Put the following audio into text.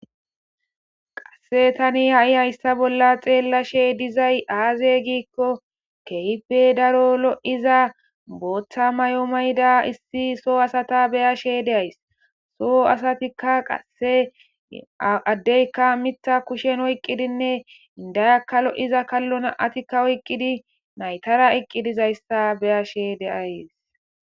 Qasse tani ha'i hayssa bolla xeellashe dizay aaze giikko kehipe daro lo'iza booththa may'o mayda issi soo asata beya she deays soo asatikka qasse addeykka mitta kushen oyqqidinne indayakka lo'iza kallonaatikka oyqqidi naytara eqqidizayssa beya she deays.